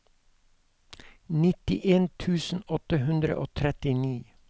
nittien tusen åtte hundre og trettini